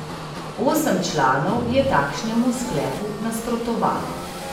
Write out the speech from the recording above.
Osem članov je takšnemu sklepu nasprotovalo.